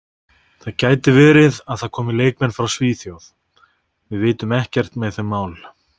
Það gæti verið að það komi leikmenn frá Svíþjóð, við vitum ekkert með þau mál.